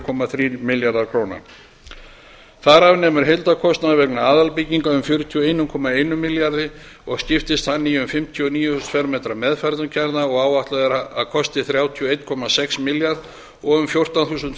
komma þrír milljarðar króna þar af nemur heildarkostnaður vegna aðalbygginga um fjörutíu og einum komma einum milljarði króna og skiptist hann í um fimmtíu og níu þúsund fermetra meðferðarkjarna sem áætlað er að kosti þrjátíu og einn komma sex milljarða króna um fjórtán þúsund